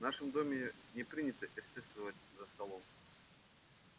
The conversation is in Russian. в нашем доме не принято эстетствовать за столом